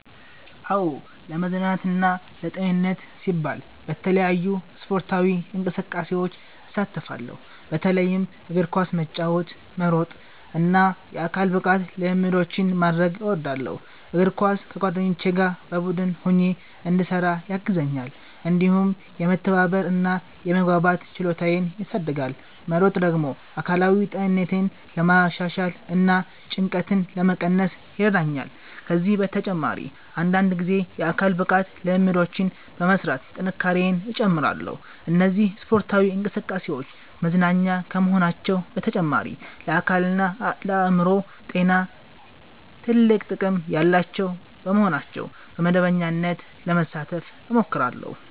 "አዎ፣ ለመዝናናትና ለጤንነቴ ሲባል በተለያዩ ስፖርታዊ እንቅስቃሴዎች እሳተፋለሁ። በተለይም እግር ኳስ መጫወት፣ መሮጥ እና የአካል ብቃት ልምምዶችን ማድረግ እወዳለሁ። እግር ኳስ ከጓደኞቼ ጋር በቡድን ሆኜ እንድሰራ ያግዘኛል፣ እንዲሁም የመተባበር እና የመግባባት ችሎታዬን ያሳድጋል። መሮጥ ደግሞ አካላዊ ጤንነቴን ለማሻሻል እና ጭንቀትን ለመቀነስ ይረዳኛል። ከዚህ በተጨማሪ አንዳንድ ጊዜ የአካል ብቃት ልምምዶችን በመሥራት ጥንካሬዬን እጨምራለሁ። እነዚህ ስፖርታዊ እንቅስቃሴዎች መዝናኛ ከመሆናቸው በተጨማሪ ለአካልና ለአእምሮ ጤና ትልቅ ጥቅም ያላቸው በመሆናቸው በመደበኛነት ለመሳተፍ እሞክራለሁ።"